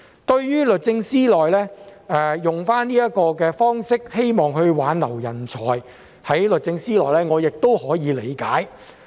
對於律政司採用這種方式，希望挽留部門內的人才，我也可以理解。